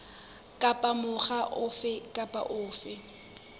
kapa mokga ofe kapa ofe